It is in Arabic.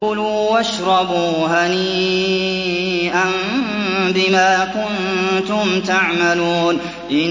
كُلُوا وَاشْرَبُوا هَنِيئًا بِمَا كُنتُمْ تَعْمَلُونَ